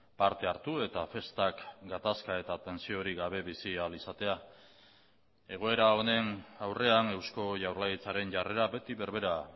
parte hartu eta festak gatazka eta tentsiorik gabe bizi ahal izatea egoera honen aurrean eusko jaurlaritzaren jarrera beti berbera